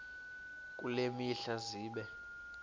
kule mihla zibe